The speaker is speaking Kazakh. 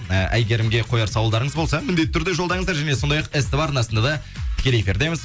і әйгерімге қояр сауалдарыңыз болса міндетті түрде жолдаңыздар және сондай ақ ств арнасында да тікелей эфирдеміз